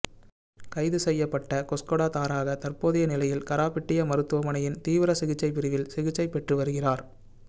கைது செய்யப்பட்ட கொஸ்கொட தாரக தற்போதைய நிலையில் கராபிட்டிய மருத்துவமனையின் தீவிர சிகிச்சை பிரிவில் சிகிச்சைப் பெற்று வருகிறார்